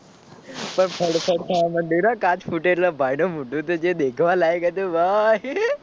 થર થર થવા મંડી ભાઈ કાચ ફૂટે એટલે ભાઈ નું મોઢું તો જે દેખવા લાયક હતું ભાઈ